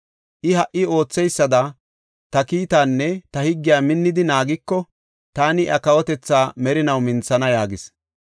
I ha77i ootheysada ta kiitaanne ta higgiya minnidi naagiko taani iya kawotethaa merinaw minthana’ yaagis.